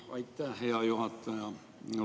Aitäh, hea juhataja!